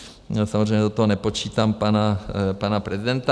Samozřejmě do toho nepočítám pana prezidenta.